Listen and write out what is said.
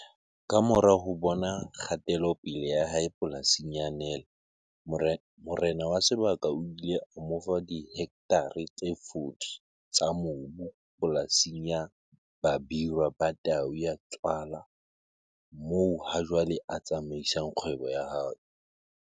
Kamora ho bona kgatelopele ya hae polasing ya Nel morena wa sebaka o ile a mo fa dihektare tse 40 tsa mobu polasing ya Babirwa Ba Tau Ya Tswala moo hajwale a tsamaisang kgwebo ya hae.